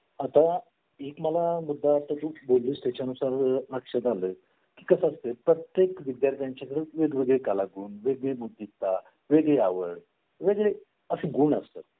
आणि त्याच्यामध्ये जर नाही हे लक्षात येत नाही की अरे आपण या मुलाला आह परवाच रागावलेलो किंवा आपल्या डबा सांडलेला किंवा याला डबल सांडल्यामुळेला खायला नाही मिळालं किंवा आपल्यामुळे खाल्लं नाही